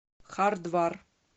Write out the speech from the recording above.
хардвар